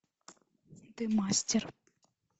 ты мастер